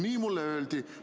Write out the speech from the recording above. Nii mulle öeldi!